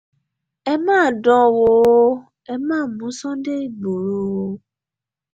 ẹ má dán an wò ẹ má mú sunday ìgboro o